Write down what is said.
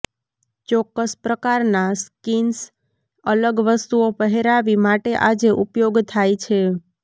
ચોક્કસ પ્રકારના સ્કિન્સ અલગ વસ્તુઓ પહેરાવી માટે આજે ઉપયોગ થાય છે